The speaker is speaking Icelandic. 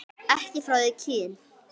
Ekki frá því kyn